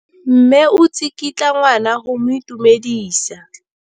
Mme o tsikitla ngwana go mo itumedisa.